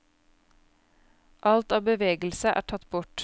Alt av bevegelse er tatt bort.